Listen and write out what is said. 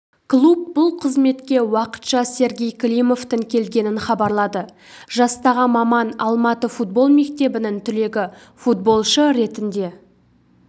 клуб бұл қызметке уақытша сергей климовтің келгенін хабарлады жастағы маман алматы футбол мектебінің түлегі футболшы ретінде